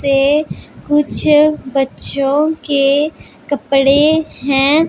ते कुछ बच्चों के कपड़े हैं।